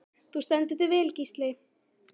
Þú stendur þig vel, Gísli!